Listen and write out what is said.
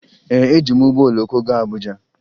Ee, eji m ụgbọ oloko gaa Abuja